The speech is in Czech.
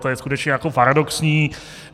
To je skutečně jako paradoxní.